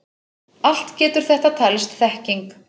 Allt getur þetta talist þekking.